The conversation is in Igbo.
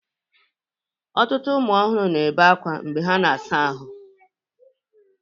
Ọtụtụ ụmụ ọhụrụ na-ebe akwa mgbe ha na-asa ahụ.